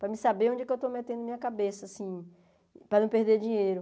Para mim saber onde que eu estou metendo minha cabeça, assim, para não perder dinheiro.